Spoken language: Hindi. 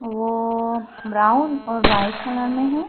वो ब्राउन और वाइट कलर में है।